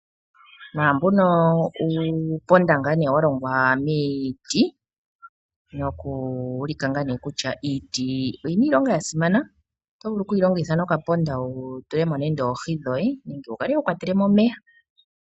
Naambono uuponda wa longwa miiti. Otashi ulike kutya iiti oyina iilonga yasimana noto vulu okuyi longitha oku nduluka po okaponda wu tule mo oohi dhoye nenge wu kwatela mo omeya.